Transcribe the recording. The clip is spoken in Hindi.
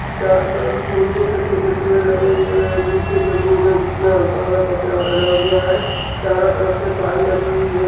चारों तरफ से फूल छोटे-छोटे पेड़ लगे हुए हैं | नीचे जमीन है जिसमें हल्का सा कचरा डला हुआ है | चारों तरफ से काई लगी हुयी है।